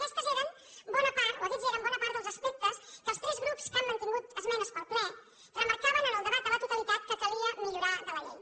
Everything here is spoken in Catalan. aquests eren bona part dels aspectes que els tres grups que han mantingut esmenes per al ple remarcaven en el debat a la totalitat que calia millorar de la llei